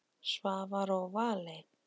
Svavar og Valey.